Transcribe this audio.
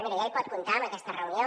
miri ja hi pot comptar amb aquesta reunió